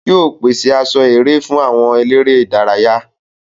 Yóò pèse aṣọ eré fún àwọn eléré ìdárayá.